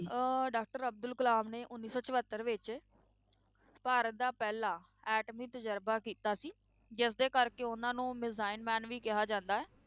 ਅਹ doctor Abdul Kalam ਨੇ ਉੱਨੀ ਸੌ ਚੁਹੱਤਰ ਵਿੱਚ ਭਾਰਤ ਦਾ ਪਹਿਲਾ ਐਟਮੀ ਤਜਰਬਾ ਕੀਤਾ ਸੀ, ਜਿਸਦੇ ਕਰਕੇ ਉਹਨਾਂ ਨੂੰ ਮਿਜ਼ਾਈਲ man ਵੀ ਕਿਹਾ ਜਾਂਦਾ ਹੈ,